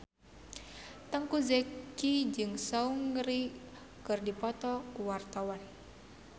Teuku Zacky jeung Seungri keur dipoto ku wartawan